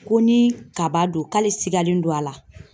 Ko ni kaba don k'ale sigalen don a la.